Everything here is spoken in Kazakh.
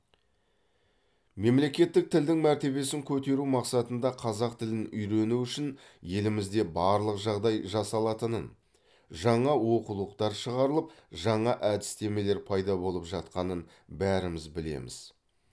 мемлекеттік тілдің мәртебесін көтеру мақсатында қазақ тілін үйрену үшін елімізде барлық жағдай жасалатынын жаңа оқулықтар шығарылып жаңа әдістемелер пайда болып жатқанын бәріміз білеміз